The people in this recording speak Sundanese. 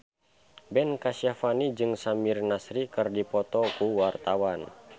Ben Kasyafani jeung Samir Nasri keur dipoto ku wartawan